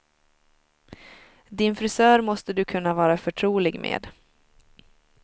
Din frisör måste du kunna vara förtrolig med.